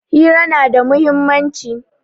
Hira na da muhimmanci.